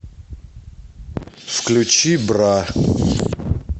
включи бра